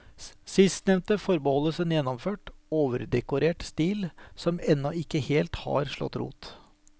Sistnevnte forbeholdes en gjennomført, overdekorert stil, som ennå ikke helt har slått rot.